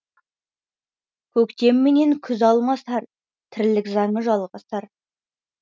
көктем менен күз алмасар тірлік заңы жалғасар